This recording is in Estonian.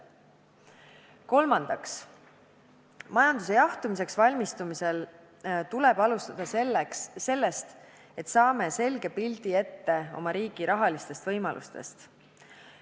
Kolmandaks, majanduse jahtumiseks valmistumisel tuleb alustada sellest, et saame selge pildi oma riigi rahalistest võimalustest.